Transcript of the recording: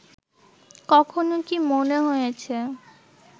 কখনও কি মনে হয়েছে